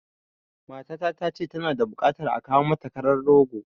Matata ta ce tana da buƙatar a kawo mata karan rogo